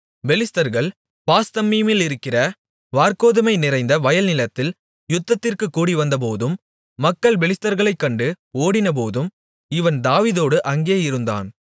பெலிஸ்தர்கள் பாஸ்தம்மீமிலிருக்கிற வாற்கோதுமை நிறைந்த வயல்நிலத்தில் யுத்தத்திற்குக் கூடிவந்தபோதும் மக்கள் பெலிஸ்தர்களைக் கண்டு ஓடினபோதும் இவன் தாவீதோடு அங்கே இருந்தான்